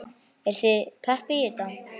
Eruð þið pepp í þetta?